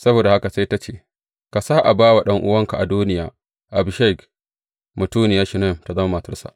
Saboda haka sai ta ce, Ka sa a ba wa ɗan’uwanka Adoniya, Abishag mutuniyar Shunam tă zama matarsa.